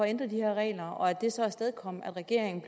ændre de her regler og at det så afstedkom at regeringen